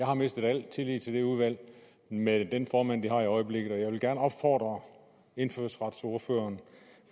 har mistet al tillid til det udvalg med den formand det har i øjeblikket og jeg vil gerne opfordre indfødsretsordføreren